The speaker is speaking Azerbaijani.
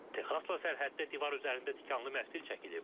Texasla sərhəddə divar üzərində tikanlı məftil çəkilib.